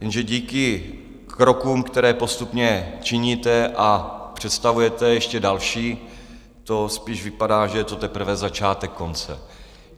Jenže díky krokům, které postupně činíte, a představujete ještě další, to spíš vypadá, že je to teprve začátek konce.